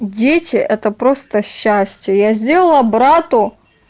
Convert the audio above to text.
дети это просто счастье я сделала брату